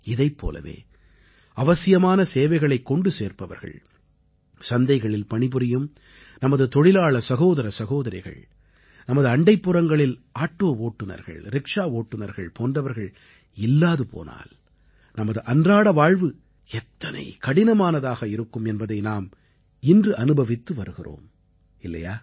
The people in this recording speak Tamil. இதைப் போலவே அவசியமான சேவைகளைக் கொண்டு சேர்ப்பவர்கள் சந்தைகளில் பணிபுரியும் நமது தொழிலாள சகோதர சகோதரிகள் நமது அண்டைப்புறங்களில் ஆட்டோ ஓட்டுநர்கள் ரிக்ஷா ஓட்டுநர்கள் போன்றவர்கள் இல்லாது போனால் நமது அன்றாட வாழ்வு எத்தனை கடினமானதாக இருக்கும் என்பதை நாம் இன்று அனுபவித்து வருகிறோம் இல்லையா